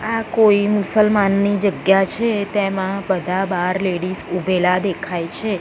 આ કોઈ મુસલમાનની જગ્યા છે તેમાં બધા બાર લેડીઝ ઉભેલા દેખાય છે.